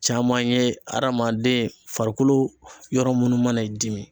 Caman ye hadamaden farikolo yɔrɔ munnu mana i dimi